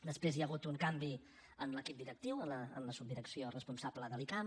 després hi ha hagut un canvi en l’equip directiu en la subdirecció responsable de l’icam